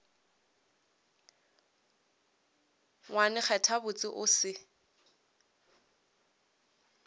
ngwane kgetha botse o se